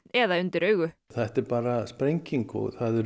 eða undir augu þetta er bara sprenging